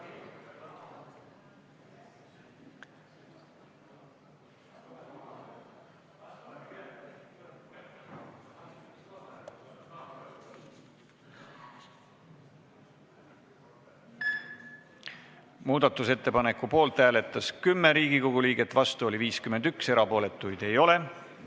Hääletustulemused Muudatusettepaneku poolt hääletas 10 Riigikogu liiget, vastu oli 51, erapooletuid ei ole.